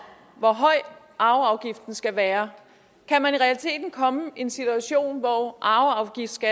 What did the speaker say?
hvor høj arveafgiften skal være kan man i realiteten komme i en situation hvor arveafgiften